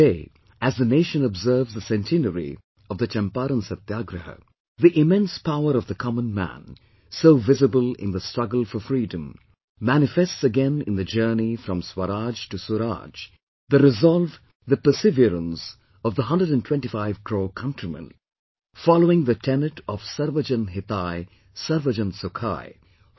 Today, as the nation observes the centenary of the Champaran Satyagraha, the immense power of the common man, so visible in the struggle for freedom, manifests again in the journey from Swaraj to Suraaj, the resolve, the perseverance of the 125 crore countrymen, following the tenet of 'Sarvyajan Hitaay, Sarvajan Sukhaay' i